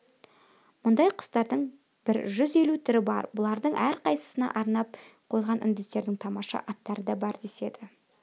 мұндай құстардың бір жүз елу түрі бар бұлардың әрқайсысына арнап қойған үндістердің тамаша аттары да бар деседі